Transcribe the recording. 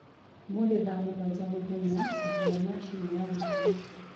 ũmũthĩ thaa mũgwanja mũthenya ambia machĩnĩ ya gutherĩa